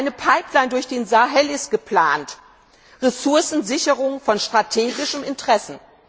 Eine Pipeline durch den Sahel ist geplant, Ressourcensicherung von strategischem Interesse.